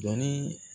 Dɔnni